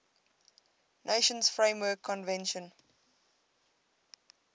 nations framework convention